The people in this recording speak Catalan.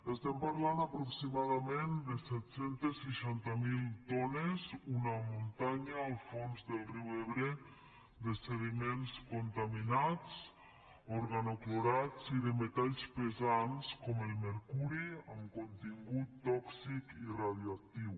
estem parlant aproximadament de set cents i seixanta miler tones una muntanya al fons del riu ebre de sediments contaminats organoclorats i de metalls pesants com el mercuri amb contingut tòxic i radioactiu